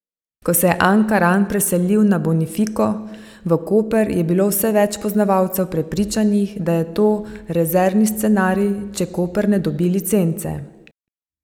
Ko se je Ankaran preselil na Bonifiko v Koper, je bilo vse več poznavalcev prepričanih, da je to rezervni scenarij, če Koper ne dobi licence.